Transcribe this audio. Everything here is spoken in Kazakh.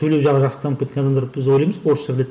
сөйлеу жағы жақсы дамып кеткен адамдар біз ойлаймыз орысша біледі